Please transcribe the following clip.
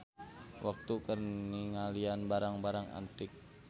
Waktu keur ningalian barang-barang antik.